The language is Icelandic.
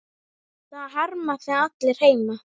Það harma þig allir heima.